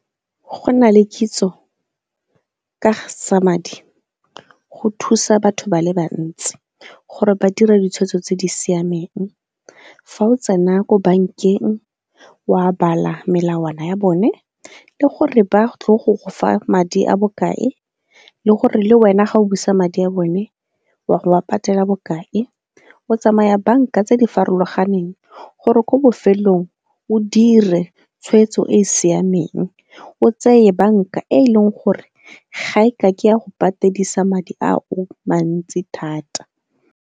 Go na le kitso ka ga tsa madi, go thusa batho ba le bantsi gore ba dira ditshwetso tse di siameng. Fa o tsena ko bankeng, wa bala melawana ya bone le gore ba tle go go fa madi a bokae le gore le wena ga o busa madi a bone a go a patela bokae. O tsamaya banka tse di farologaneng gore ko bofelong o dire tshwetso e e siameng, o tseye banka e e leng gore ga e ka ke ya go patedisa madi a o mantsi thata.